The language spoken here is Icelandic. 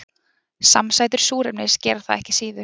Samsætur súrefnis gera það ekki síður.